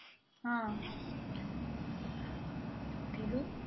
ആ ടിലു